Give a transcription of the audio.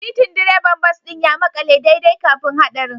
Titin direban bas ɗin ya makale daidai kafin haɗarin